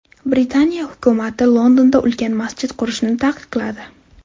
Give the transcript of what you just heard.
Britaniya hukumati Londonda ulkan masjid qurishni taqiqladi.